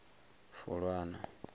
fulwana